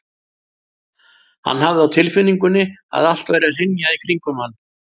Hann hafði á tilfinningunni að allt væri að hrynja í kringum hann.